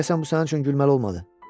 Deyəsən bu sənin üçün gülməli olmadı.